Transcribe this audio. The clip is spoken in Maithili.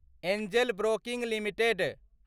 Angel Broking limited